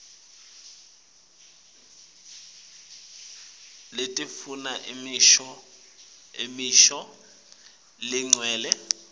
letifuna imisho legcwele